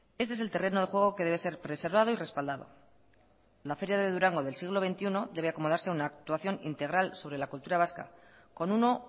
este es el terreno de juego que debe ser preservado y respaldado la feria de durango del siglo veintiuno debe acomodarse a una actuación integral sobre la cultura vasca con uno